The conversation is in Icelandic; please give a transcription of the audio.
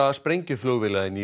sprengjuflugvéla inn í